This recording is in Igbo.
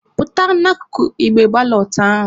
Pụta n'akụkụ igbe balọt ahụ!